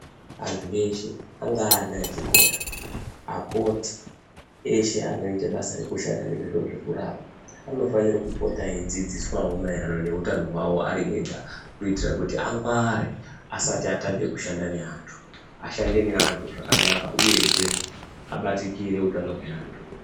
Antu eshe angaa ana echikora, akoti eshe anoita basa rekushanda nezviro zvekurapa anofanira kupota eidzidziswawo maererano neutano hwawo ari ega, kuitira kuti angware asati atanga kushanda neantu ashande neantu zvakanaka uyezvee abatikire utano hweantu.